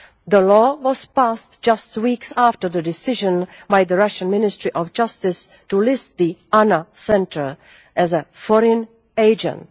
The law was passed just weeks after the decision by the Russian Ministry of Justice to list the ANNA Centre as a foreign agent'.